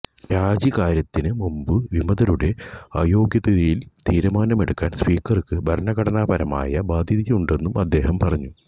രാജിക്കാര്യത്തിനുമുമ്പ് വിമതരുടെ അയോഗ്യതയിൽ തീരുമാനമെടുക്കാൻ സ്പീക്കർക്കു ഭരണഘടനാപരമായ ബാധ്യതയുണ്ടെന്നും അദ്ദേഹം പറഞ്ഞു